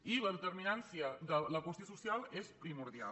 i la determi·nància de la qüestió social és primordial